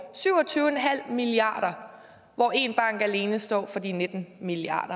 syv og tyve milliard kr hvor en bank alene står for de nitten milliard